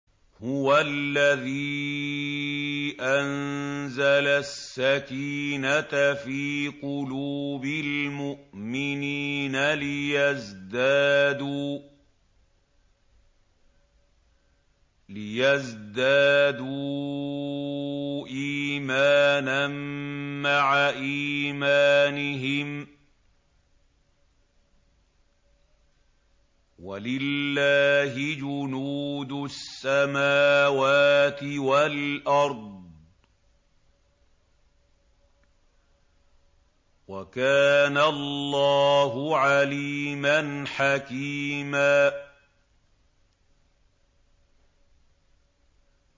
هُوَ الَّذِي أَنزَلَ السَّكِينَةَ فِي قُلُوبِ الْمُؤْمِنِينَ لِيَزْدَادُوا إِيمَانًا مَّعَ إِيمَانِهِمْ ۗ وَلِلَّهِ جُنُودُ السَّمَاوَاتِ وَالْأَرْضِ ۚ وَكَانَ اللَّهُ عَلِيمًا حَكِيمًا